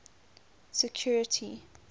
security